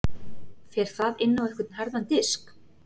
Fer það inn á einhvern harðan disk?